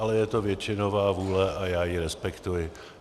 Ale je to většinová vůle a já ji respektuji.